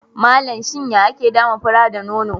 Malam, shin ya ake dama fura da nono?